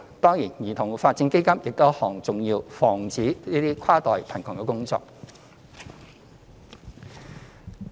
當然，兒童發展基金亦是一項重要防止跨代貧窮的工作。